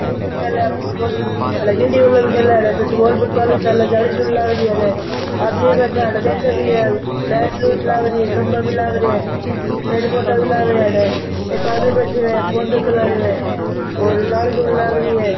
गिल्ली बल्लाे खेले फुटबॉल फुट गिल्ली बल्लाे भी खेले अठे फुटबॉल फुटबॉल भी चाले जाली जुली लाग रही अठे आदमी बैठा है अठे देखे भी है लाइट लूट लागरी खम्बा भी लाग रिया है पेड़ पौधा भी लाग रिया है अठे एक आदमी बैठयो है फ़ोन देखन लाग रियो है और जाली जुली लाग रही है।